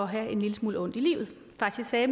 have en lille smule ondt i livet faktisk sagde